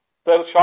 group captain